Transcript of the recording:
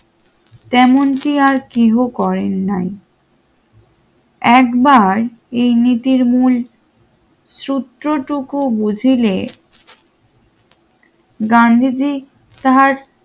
গান্ধীজি তাহাদের নির্মম কুসংস্কার এরূপ নিন্দার তিরস্কার করেন